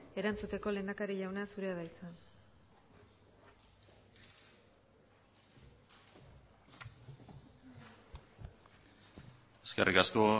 erantzuteko lehendakari jauna zurea da hitza eskerrik asko